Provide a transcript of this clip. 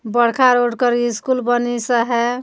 बड़खा रोड कर स्कूल बनी सा है।